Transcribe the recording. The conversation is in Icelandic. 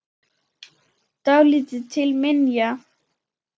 Dálítið til minja.